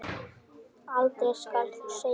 Aldrei skal þó segja aldrei.